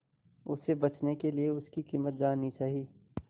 उसे बचने के लिए उसकी कीमत जाननी चाही